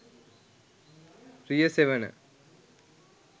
riyasevana